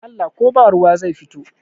dashen Allah ko ba ruwa zai fito